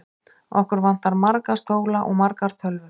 Okkur vantar marga stóla og margar tölvur.